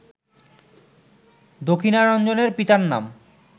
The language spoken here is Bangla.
দক্ষিণারঞ্জনের পিতার নাম